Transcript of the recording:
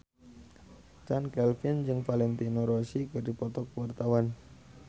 Chand Kelvin jeung Valentino Rossi keur dipoto ku wartawan